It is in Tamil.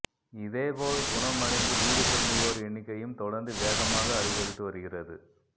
இதேபோல் குணம் அடைந்து வீடு திரும்புவோர் எண்ணிக்கையும் தொடர்ந்து வேகமாக அதிகரித்து வருகீறது